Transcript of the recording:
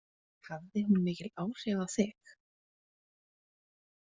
Hafði hún mikil áhrif á þig?